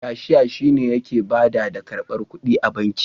Kashiya shi ne yake bada da karbar ƙuɗi a banki.